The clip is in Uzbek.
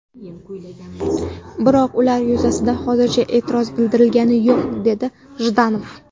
Biroq ular yuzasidan hozircha e’tiroz bildirilgani yo‘q”, dedi Jdanov.